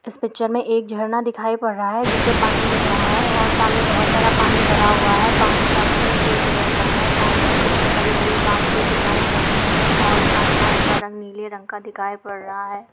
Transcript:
इस पिक्चर में एक झरना दिखाई पड़ रहा है जिसमें पानी गिर रहा है और सामने बहुत सारा पानी भरा हुआ है और पानी का कलर ग्रे कलर का है और सामने कुछ हरी-हरी घाँस भी दिखाई पड़ रही है और आसमान का रंग नीले रंग का दिखाई पड़ रहा है।